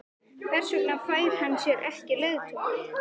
Hver vegna fær hann sér ekki leiðtoga?